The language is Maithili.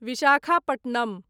विशाखापट्टनम